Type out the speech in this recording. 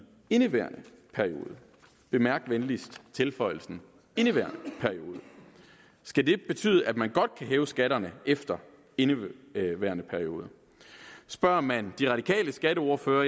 indeværende periode bemærk venligst tilføjelsen indeværende periode skal det betyde at man godt kan hæve skatterne efter indeværende periode spørger man de radikales skatteordfører